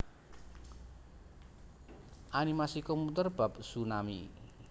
Animasi komputer bab tsunami